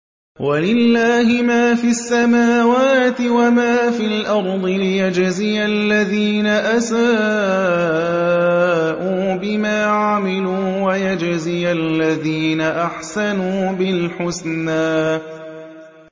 وَلِلَّهِ مَا فِي السَّمَاوَاتِ وَمَا فِي الْأَرْضِ لِيَجْزِيَ الَّذِينَ أَسَاءُوا بِمَا عَمِلُوا وَيَجْزِيَ الَّذِينَ أَحْسَنُوا بِالْحُسْنَى